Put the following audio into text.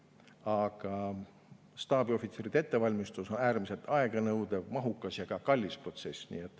Aga staabiohvitseride ettevalmistus on äärmiselt aeganõudev, mahukas ja kallis protsess.